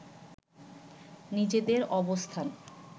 নিজেদের অবস্থান